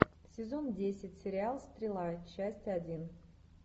сезон десять сериал стрела часть один